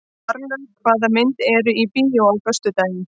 Marlaug, hvaða myndir eru í bíó á föstudaginn?